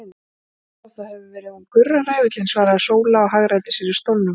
Nú já, það hefur verið hún Gurra ræfillinn, svaraði Sóla og hagræddi sér í stólnum.